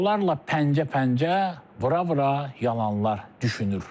Onlarla pəncə-pəncə vura-vura yalanlar düşünür.